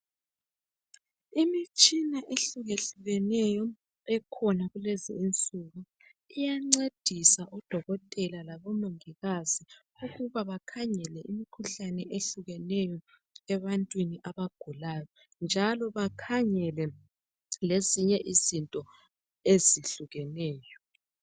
Imitshina ehlukehlukeneyo ekhona kulezinsuku iyancedisa odokotela labomongikazi ukuba bakhangele imikhuhlane ehlukeneyo ebantwini abagulayo njalo bakhangele lezinye izinto ezihlukeneyo.